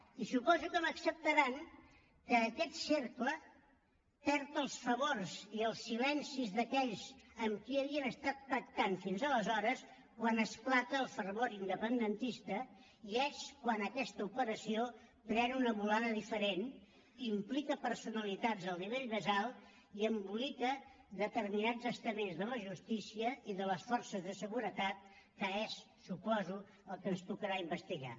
i suposo que m’acceptaran que aquest cercle perd els favors i els silencis d’aquells amb qui havien estat pactant fins aleshores quan esclata el fervor independentista i és quan aquesta operació pren una volada diferent implica personalitats del nivell més alt i embolica determinats estaments de la justícia i de les forces de seguretat que és suposo el que ens tocarà investigar